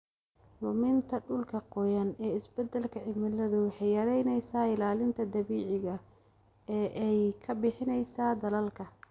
Luminta dhulka qoyan ee isbedelka cimiladu waxay yaraynaysaa ilaalinta dabiiciga ah ee ay ka bixiyaan daadadka.